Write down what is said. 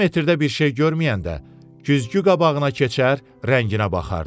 Termometrdə bir şey görməyəndə güzgü qabağına keçər, rənginə baxardı.